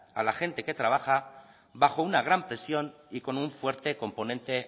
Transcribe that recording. a la gente que trabaja bajo una gran presión y con un fuerte componente